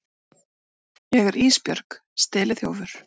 Ég er Ísbjörg steliþjófur.